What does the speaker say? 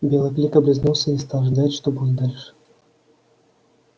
белый клык облизнулся и стал ждать что будет дальше